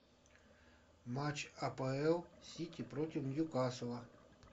матч апл сити против ньюкасла